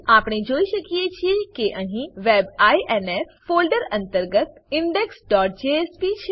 આપણે જોઈ શકીએ છીએ કે અહીં web ઇન્ફ ફોલ્ડર અંતર્ગત indexજેએસપી છે